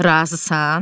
Razısan?